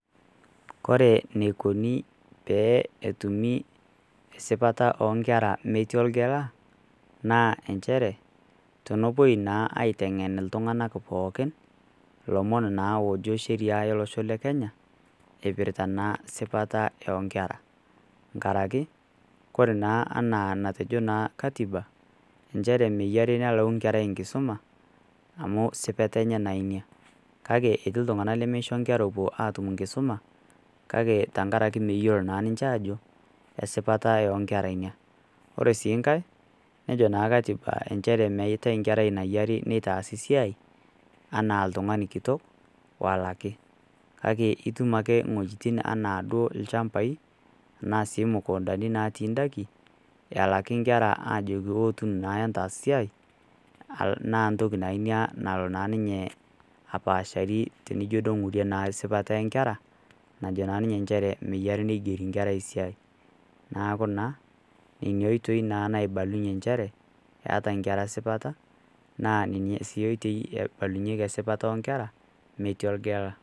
Kore eneikuni pee etumi esipata oo nkera metii olgela, naa enchere, tenepuoi naa aiteng'en iltung'ana pooki, ilomon naa oojo sheriaa olosho le Kenya, eipirta naa sipa o nkera, enkaraki Kore naa ana enatejo naa Katiba nchere menare nelau inkera enkisuma amu es sipata enye naa Ina. Kake etii iltung'ana lemeisho naa inkera epuo aatum enkisuma, kake enkarake meyiolo naa ninche aajo esipata o nkera Ina. Ore sii nkai nejo sii Katiba enchere meatai enkerai nayari neitaasi siai anaa oltung'ani kitok olaki. Kake itum ake inwuetin anaa duo ilchambai, anaa sii imukuntani natii indaiki elaki inkera aajoki ootu naa entaas siai naa ntoki nalo naa ninye apaashari tenidol naa duo naa einguri sipata o nkera, najo naa ninye nchere menare neigeri inkera esiai, neaku, nena oitoi naa naibalunye nchere eata inkera esipata naa nena siatin neibalunyeki sipata o nkera metii olgela.